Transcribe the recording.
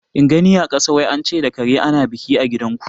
In gani a kasa; wai ance da kare ana biki a gidan ku